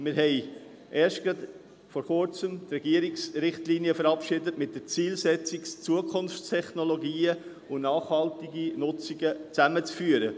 Vor Kurzem haben wir die Regierungsrichtlinien verabschiedet, mit der Zielsetzung, Zukunftstechnologien und nachhaltige Nutzung zusammenzuführen.